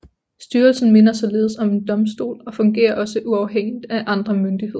Styrelsen minder således om en domstol og fungerer også uafhængigt af andre myndigheder